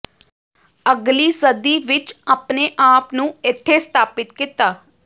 ਅਗਲੀ ਸਦੀ ਵਿਚ ਆਪਣੇ ਆਪ ਨੂੰ ਇੱਥੇ ਸਥਾਪਿਤ ਕੀਤਾ